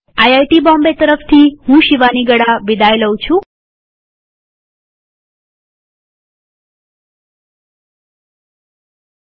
IIT Bombay તરફથી હું શિવાની ગડા વિદાય લઉં છુંટ્યુ્ટોરીઅલમાં ભાગ લેવા આભાર